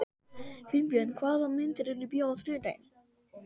Finnbjörg, hvaða myndir eru í bíó á þriðjudaginn?